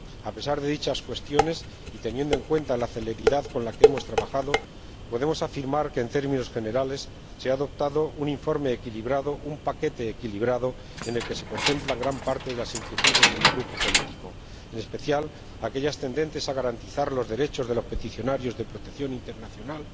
A pesar de dichas cuestiones y teniendo en cuenta la celeridad con la que hemos trabajado, podemos afirmar que, en términos generales, se ha aprobado un informe equilibrado, un paquete equilibrado en el que se contemplan gran parte de las inquietudes de mi grupo político, en especial las tendentes a garantizar los derechos de los peticionarios de protección internacional